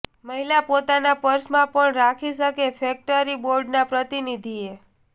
મહિલા પોતાના પર્સમાં પણ રાખી શકે ફેકટરી બોર્ડના પ્રતિનિધિએ